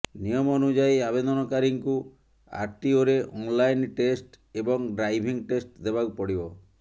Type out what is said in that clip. ନିୟମ ଅନୁଯାୟୀ ଆବେଦନକାରୀଙ୍କୁ ଆରଟିଓରେ ଅନଲାଇନ୍ ଟେଷ୍ଟ ଏବଂ ଡ୍ରାଇଭିଂ ଟେଷ୍ଟ ଦେବାକୁ ପଡିବ